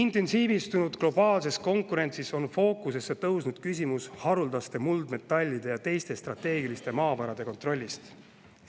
Intensiivistunud globaalses konkurentsis on fookusesse tõusnud küsimus haruldaste muldmetallide ja teiste strateegiliste maavarade kontrollist.